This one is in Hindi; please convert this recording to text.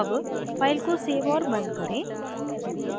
अब file को सेव और बंद करें